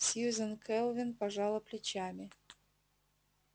сьюзен кэлвин пожала плечами